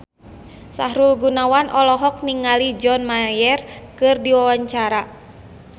Sahrul Gunawan olohok ningali John Mayer keur diwawancara